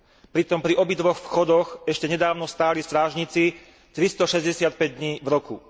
Pritom pri obidvoch vchodoch ešte nedávno stáli strážnici tristošesťdesiatpäť dní v roku.